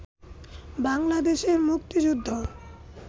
বাংলাদেশের মুক্তিযুদ্ধ